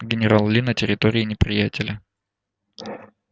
генерал ли на территории неприятеля